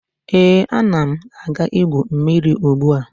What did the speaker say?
Ee, ana m aga igwu mmiri ugbua